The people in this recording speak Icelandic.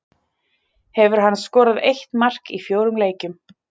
Hefur hann skorað eitt mark í fjórum leikjum.